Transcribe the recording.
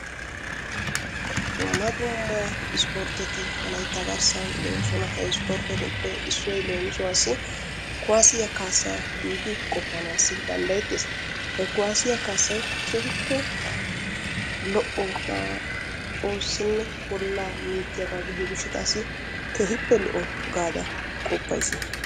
Dumma dumma ispportetti wolaytta garssan de'oosona he isportettuppe issoy leemisuwaassi kuwasiya kaassa giidi qopanaasi dandayeetees. He kuwaasiyaa kaassay keehiippe lo'o naa oossinne bollaa minttiyaagaa gidiyo gishshataassi keehiippe lo'o gaada qoppayssi.